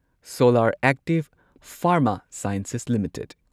solar Active Pharma Sciences limited